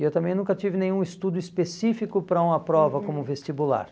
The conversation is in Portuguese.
E eu também nunca tive nenhum estudo específico para uma prova como vestibular.